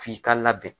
F'i ka labɛn